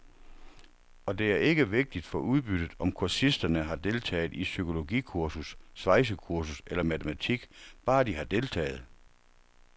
Og det er ikke vigtigt for udbyttet, om kursisterne har deltaget i psykologikursus, svejsekursus eller matematik, bare de har deltaget.